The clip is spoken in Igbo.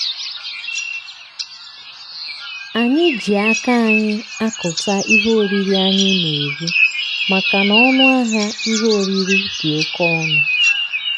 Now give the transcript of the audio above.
anyị ji aka anyị akụta ihe oriri anyị na-eri makana ọnụ ahịa ihe oriri dị oke ọnụ.